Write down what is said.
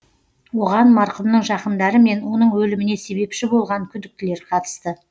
оған марқұмның жақындары мен оның өліміне себепші болған күдіктілер қатысты